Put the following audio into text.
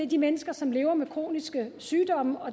de mennesker som lever med kroniske sygdomme